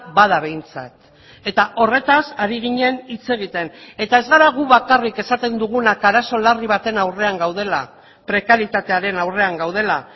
bada behintzat eta horretaz ari ginen hitz egiten eta ez bada gu bakarrik esaten dugunak arazo larri baten aurrean gaudela prekarietatearen aurrean gaudela